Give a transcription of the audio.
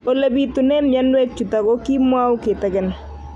Ole pitune mionwek chutok ko kimwau kitig'�n